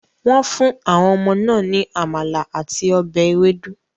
Wọ́n fún àwọn ọmọ náà ní amala àti ọbẹ̀ ewedu.